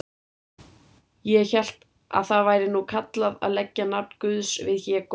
Ég hélt að það væri nú kallað að leggja nafn Guðs við hégóma.